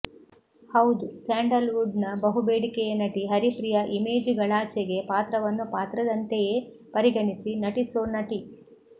ಹೌದು sandalwood ನ ಬಹುಬೇಡಿಕೆಯ ನಟಿ ಹರಿಪ್ರಿಯಾ ಇಮೇಜುಗಳಾಚೆಗೆ ಪಾತ್ರವನ್ನು ಪಾತ್ರದಂತೆಯೇ ಪರಿಗಣಿಸಿ ನಟಿಸೋ ನಟಿ